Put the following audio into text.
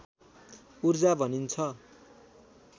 ऊर्जा भनिन्छ